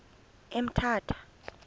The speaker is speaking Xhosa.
emthatha